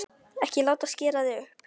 Ekki láta skera þig upp!